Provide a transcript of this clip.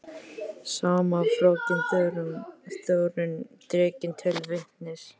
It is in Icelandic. Sama fröken Þórunn dregin til vitnis.